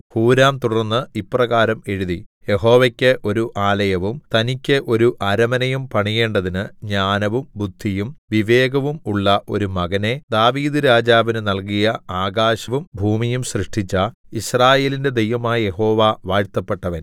ഹൂരാം തുടർന്ന് ഇപ്രകാരം എഴുതി യഹോവയ്ക്ക് ഒരു ആലയവും തനിക്ക് ഒരു അരമനയും പണിയേണ്ടതിന് ജ്ഞാനവും ബുദ്ധിയും വിവേകവും ഉള്ള ഒരു മകനെ ദാവീദ്‌ രാജാവിന് നല്കിയ ആകാശവും ഭൂമിയും സൃഷ്ടിച്ച യിസ്രായേലിന്റെ ദൈവമായ യഹോവ വാഴ്ത്തപ്പെട്ടവൻ